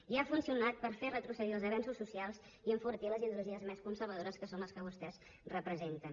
i ha funcionat per fer retrocedir els avenços socials i enfortir les ideologies més conservadores que són les que vostès representen